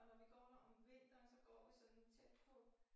Og når vi går der om vinteren så går vi sådan tæt på